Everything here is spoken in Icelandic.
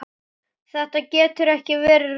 Þetta getur ekki verið rétt.